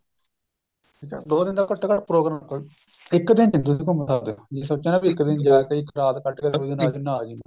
ਦੋ ਦਿਨ ਦਾ ਘੱਟੋ ਘੱਟ ਪ੍ਰੋਗਰਾਮ ਰੱਖੋ ਇੱਕ ਦਿਨ ਵਿੱਚ ਨਹੀ ਘੁੱਮ ਸਕਦੇ ਜੇ ਸੋਚਿਆ ਇੱਕ ਦਿਨ ਵਿੱਚ ਜਾਕੇ ਇੱਕ ਰਾਤ ਕੱਟ ਕੇ ਅੱਗਲੇ ਦਿਨ ਆ ਜਿਹੇ ਨਾ ਜੀ